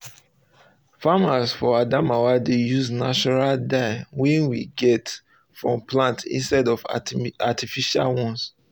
farmers for adamawa dey use natural dyes wey get get from plant instead of artificial ones